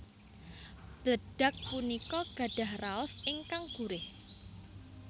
Bledag punika gadhah raos ingkang gurih